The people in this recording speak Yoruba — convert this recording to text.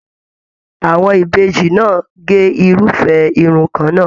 Àwọn Ìbejì náà ge irufẹ irun kànnà.